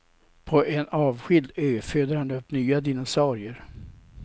På en avskild ö föder han upp nya dinosaurier.